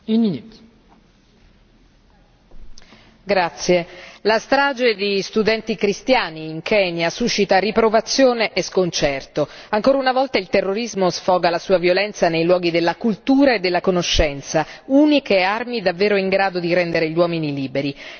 Signora Presidente, onorevoli colleghi, la strage di studenti cristiani in Kenya suscita riprovazione e sconcerto. Ancora una volta il terrorismo sfoga la sua violenza nei luoghi della cultura e della conoscenza, uniche armi davvero in grado di rendere gli uomini liberi.